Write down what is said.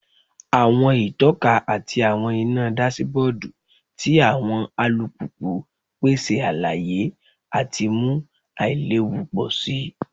Awọn itọka ati awọn ina dasibodu ti awọn alupupu n pese alaye ati mu ailewu pọ si